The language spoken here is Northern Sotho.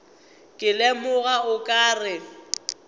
ke lemoga o ka re